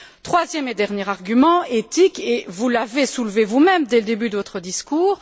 Mon troisième et dernier argument est éthique et vous l'avez soulevé vous même, dès le début de votre discours.